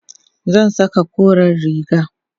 zan Saka koren riga